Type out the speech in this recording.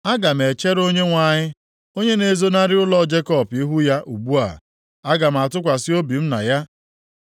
Aga m echere Onyenwe anyị, onye na-ezonarị ụlọ Jekọb ihu ya ugbu a. Aga m atụkwasị obi m na ya.